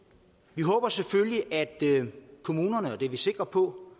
vi håber selvfølgelig at kommunerne og det er vi sikre på